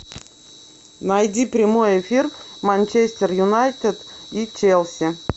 найди прямой эфир манчестер юнайтед и челси